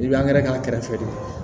I bɛ k'a kɛrɛfɛ de